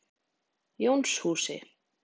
Jónshúsi